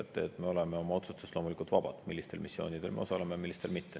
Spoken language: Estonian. Loomulikult me oleme vabad oma otsustes, millistel missioonidel me osaleme ja millistel mitte.